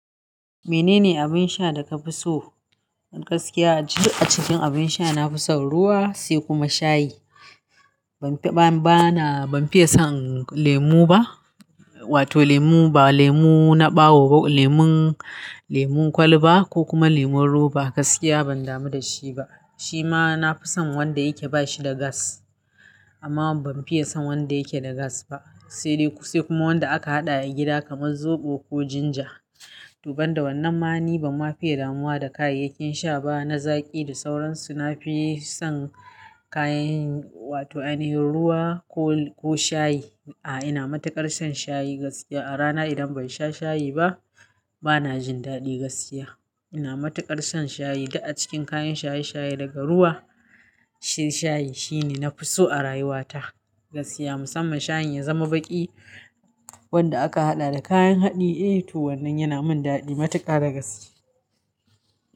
Menene abin sha da ka fi so? Gaskiya a duk cikn abin sha na fi son ruwa sai kuma shayi. Ban fiye son lemo ba, wato lemo ba ɓawo, lemon kwal ba ko kuma lemon roba gaskiya ban damu da shi ba. Shi ma na fi son wanda yake ba shi da gas amma ban fiye son wanda yake da gas ba. Sai dai ku, sai kuma wanda aka haɗa a gida kamar zoɓo ko ginger. Toban da wannan ma ni ban ma fiye damuwa da kayayyakin sha ba na zaƙi da sauransu. Na fi son kayan wato aihin ruwa ko shayi. A'a ina matuƙar son shayi gaskiya. A rana idan ban sha shayi ba bana jin daɗi gaskiya. Ina matuƙar son shayi. Duk a cikin kayan shayi shayi daga ruwa shayi shine na fi so a rayuwata gaskiya. Musamman shayin ya zama baƙi wanda aka haɗa da kayan haɗi. Eh to wannan yana min daɗi matuƙa da gaske.